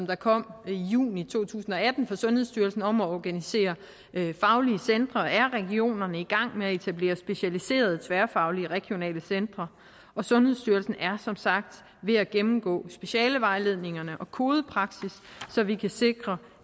der kom i juni to tusind og atten fra sundhedsstyrelsen om at organisere faglige centre er regionerne i gang med at etablere specialiserede tværfaglige regionale centre og sundhedsstyrelsen er som sagt ved at gennemgå specialevejledningerne og kodepraksis så vi kan sikre